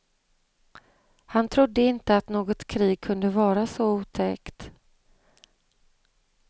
Han trodde inte att något krig kunde vara så otäckt.